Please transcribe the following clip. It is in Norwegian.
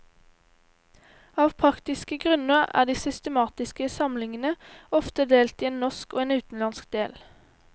Av praktiske grunner er de systematiske samlingene ofte delt i en norsk og en utenlandsk del.